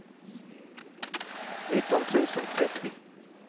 nitton tusen trettio